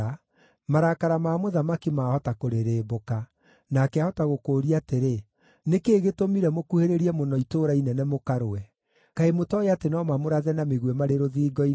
marakara ma mũthamaki maahota kũrĩrĩmbũka, nake aahota gũkũũria atĩrĩ, ‘Nĩ kĩĩ gĩtũmire mũkuhĩrĩrie mũno itũũra inene mũkarũe? Kaĩ mũtooĩ atĩ no mamũrathe na mĩguĩ marĩ rũthingo-inĩ?